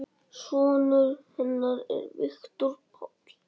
Sonur hennar er Viktor Páll.